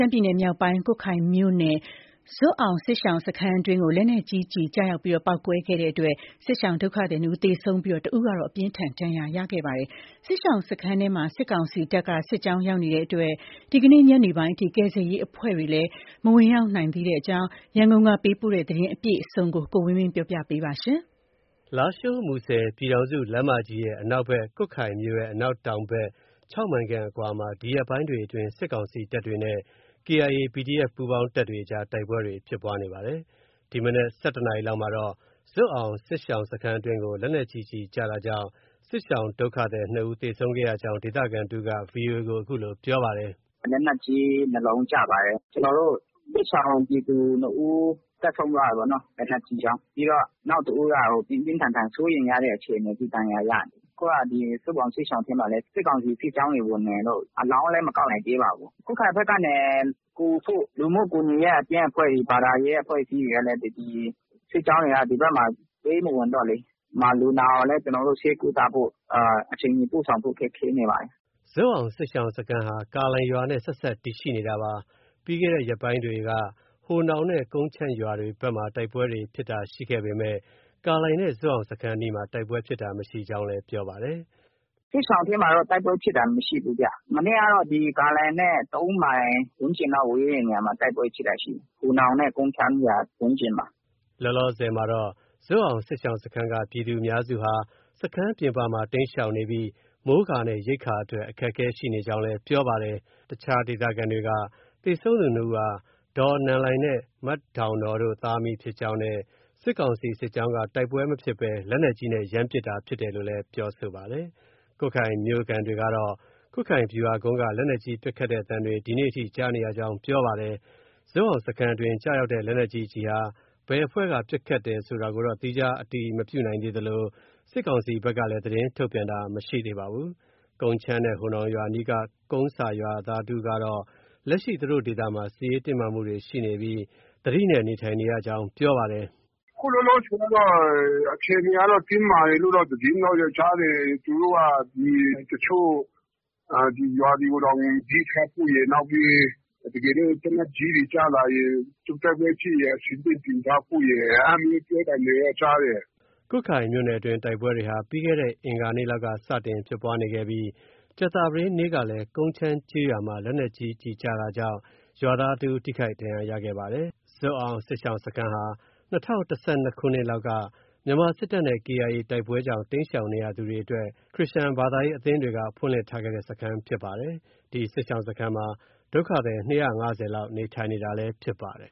မ်းပြည်နယ်မြောက်ပိုင်း ကွတ်ခိုင်မြို့နယ်က ဇွပ်အောင်စစ်ရှောင်စခန်းအတွင်းကို လက်နက်ကြီးကျည် ကျရောက်ပေါက်ကွဲခဲ့တာကြောင့် စစ်ရှောင်ဒုက္ခသည် နှစ်ဦးသေဆုံးပြီး တစ်ဦးကတော့ အပြင်းအထန် ဒဏ်ရာရခဲ့ပါတယ်။ စစ်ရှောင်စခန်းအတွင်း စစ်ကောင်စီတပ်က စစ်ကြောင်း ရောက်ရှိနေတာကြောင့် ဒီနေ့ ညနေပိုင်းအထိ အလောင်းတွေကို မသယ်ယူနိုင်သေးသလို ကယ်ဆယ်ရေးအဖွဲ့တွေလည်း မဝင်ရောက်နိုင်သေးပါဘူး။ ရန်ကုန်ကလာတဲ့ ဒီသတင်းကို ကိုဝင်းမင်းက တင်ပြပေးထားပါတယ်။ လားရှိုး- မူဆယ် ပြည်ထောင်စုလမ်းမကြီးရဲ့ အနောက်ဘက်၊ ကွတ်ခိုင်မြို့ရဲ့ အနောက်တောင်ဖက် ၆ မိုင်ခန့်အကွာမှာ ဒီရက်ပိုင်းတွေအတွင်း စစ်ကောင်စီတပ်တွေနဲ့ KIA၊ PDF ပူးပေါင်းတပ်တွေအကြား တိုက်ပွဲတွေ ဖြစ်ပွားနေပါတယ်။ ဒီမနက် ၁၁ နာရီလောက်မှာတော့ ဇွပ်အောင်စစ်ရှောင်စခန်းအတွင်းကို လက်နက်ကြီးကျည်ကျတာကြောင့် စစ်ရှောင် ဒုက္ခသည် နှစ်ဦးသေဆုံးခဲ့ကြောင်း ဒေသခံတစ်ဦးက VOA ကို အခုလို ပြောပါတယ်။ “လက်နက်ကြီး ၂ လုံးကျပါတယ်။ ကျနော်တို့ စစ်ရှောင်ပြည်သူ ၂ ဦး အသက်ဆုံးသွားတာပေါ့နော။ လက်နက်ကြီးကြောင့်။ ပြီးတော့ နောက်တဦးက ပြင်းပြင်းထန်ထန် စိုးရိမ်ရတဲ့အခြေအနေထိ ဒဏ်ရာရနေတယ်။ အခုက ဇွပ်အောင်စစ်ရှောင် ထဲမှာလည်း စစ်ကောင်စီစစ်ကြောင်းတွေဝင်နေလို့ အလောင်းလည်း မကောက်နိုင်သေးပါဘူး။ ကွတ်ခိုင်ဘက်ကနေ ကူဖို့ လူမှုကူညီရေးအသင်းအဖွဲ့တွေ ဘာသာရေးအဖွဲ့အစည်းတွေကလည်း ဒီ စစ်ကြောင်းတွေက ဒီဘက်မှာ ပေးမဝင်တော့လေ။ လူနာကိုလည်း ကျနော်တို့ ဆေးကုသဖို့ အချိန်မီ ပို့ဆောင်ဖို့ ခက်ခဲနေပါတယ်။ ” ဇွပ်အောင်စစ်ရှောင်စခန်းဟာ ကာလိုင်ရွာနဲ့ ဆက်စပ်တည်ရှိနေတာပါ။ ပြီးခဲ့တဲ့ရက်ပိုင်းတွေက ဟိုနောင်နဲ့ ကုန်းချမ်းရွာဘက်တွေမှာ တိုက်ပွဲဖြစ်တာရှိခဲ့ပေမယ့် ကာလိုင်နဲ့ဇွပ်အောင်စခန်းအနီးမှာ တိုက်ပွဲဖြစ်တာ မရှိကြောင်း လည်း ပြောပါတယ်။ “စစ်ရှောင်ထဲမှာတော့ တိုက်ပွဲဖြစ်တာ မရှိဘူးဗျ။ မနေ့ကတော့ ကာလိုင်နဲ့ ၃ မိုင်လောက် ဝေးတဲ့နေရာမှာ တိုက်ပွဲဖြစ်တာရှိတယ်။ ဟိုနောင်နဲ့ ကုန်းချမ်းရွာဝန်းကျင် မှာ။ ” လောလောဆယ်မှာတော့ ဇွပ်အောင်စစ်ရှောင်စခန်းက ပြည်သူအများစုဟာ စခန်းပြင်ပမှာ တိမ်းရှောင်နေပြီး မိုးကာနဲ့ ရိက္ခာအတွက် အခက်အခဲရှိနေကြောင်း ပြောပါတယ်။ အခြား ဒေသခံတွေက သေဆုံးသူနှစ်ဦးဟာ ဒေါ်နန်လိုင်နဲ့ မဒေါင်နောတို့ သားအမိဖြစ်ကြောင်းနဲ့ စစ်ကောင်စီ စစ်ကြောင်းက တိုက်ပွဲမဖြစ်ဘဲ လက်နက်ကြီးနဲ့ ရမ်းပစ် တာဖြစ်တယ်လို့လည်း ပြောဆိုပါတယ်။ ကွတ်ခိုင်မြို့ခံတွေကတော့ ကွတ်ခိုင်ဗျူဟာကုန်းက လက်နက်ကြီး ပစ်ခတ်တဲ့အသံတွေ ဒီကနေ့ထိ ကြားနေရကြောင်း ပြောပါတယ်။ ဇွပ်အောင်စခန်းအတွင်း ကျရောက်တဲ့ ဒီလက်နက်ကြီး ကျည်ဟာ ဘယ်အဖွဲ့က ပစ်တယ်ဆိုတာတော့ သီးခြား အတည်မပြုနိုင်သလို စစ်ကောင်စီဘက်လည်း သတင်းထုတ်ပြန်တာမရှိသေးပါဘူး။ ကုန်းချမ်းနဲ့ ဟိုနောင်ရွာအနီးက ကုန်းဆာရွာသားတဦးကတော့ လက်ရှိ သူတို့ဒေသမှာ စစ်ရေးတင်းမာမှုတွေ ရှိနေပြီး သတိနဲ့ နေထိုင်နေကြရကြောင်း ပြောပါတယ်။ “အခုလောလောဆယ်ကတော့ အခြေအနေကတော့ တင်းမာတယ်လို့ သတင်းတော့ကြားတယ်။ သူတို့က ဒီ တချို့ရွာတွေကိုတောင် သတိထားဖို့ရယ် နောက်ပြီး တကယ်လို့ သေနတ်ကြီးတွေ ကျလာရင် တိုက်ပွဲဖြစ်ရင် အဆင်သင့်ပြင်ထားဖို့ အဲဒါမျိုးပြောသံတွေတော့ ကြားတယ်။ ” ကွတ်ခိုင်မြို့နယ်အတွင်းတိုက်ပွဲတွေဟာ ပြီးခဲ့တဲ့ အင်္ဂါနေ့လောက်က စတင်ဖြစ် ပွားနေခဲ့ပြီး ကြာသပတေးနေ့ကလည်း ကုန်းချမ်းကျေးရွာမှာ လက်နက်ကြီးကျည်ကျတာကြောင့် ရွာသားတစ်ဦး ထိခိုက်ဒဏ်ရာရခဲ့ပါတယ်။ ဇွပ်အောင်စစ်ရှောင်စခန်းဟာ ၂၀၁၂ခုနှစ်လောက်က မြန်မာစစ်တပ်နဲ့ KIA တိုက်ပွဲကြောင့် တိမ်းရှောင်နေရသူတွေအတွက် ခရစ်ယာန်ဘာသာရေးအသင်းတွေက ဖွင့်လှစ်ထားတဲ့စခန်းဖြစ်ပါတယ်။ ဒီစစ်ရှောင်စခန်းမှာ ဒုက္ခသည် ၂၅၀ လောက်နေထိုင်နေတာလည်း ဖြစ်ပါတယ်